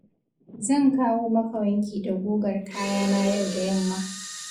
Zan kawo maka wanki da gugar kayana yau da yamma.